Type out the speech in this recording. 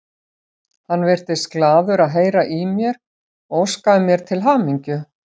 Hann virtist glaður að heyra í mér og óskaði mér til hamingju.